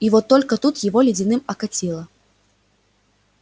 и вот только тут его ледяным окатило